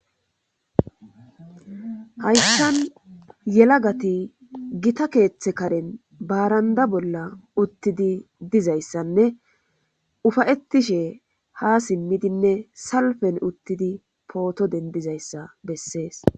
Hayssan yela gati gita keeththe karen baaranda bolla uttidi dizayssanne ufayettishe ha simmidinne salfen uttidi pooto dendizayssa bessees.